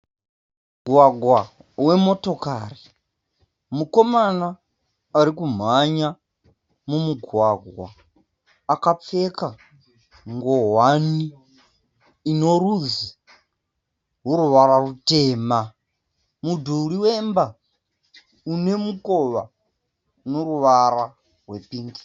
Mugwagwa wemotokari. Mukomana ari kumhanya mumugwagwa akapfeka ngowani inorudzi yoruvara rutema. Mudhuri wemba une mukova une ruvara rwepingi.